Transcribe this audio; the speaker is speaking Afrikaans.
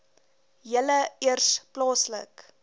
julle eers plaaslik